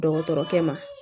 Dɔgɔtɔrɔkɛ ma